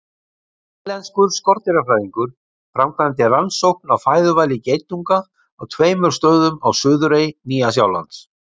Nýsjálenskur skordýrafræðingur framkvæmdi rannsókn á fæðuvali geitunga á tveimur stöðum á suðurey Nýja-Sjálands.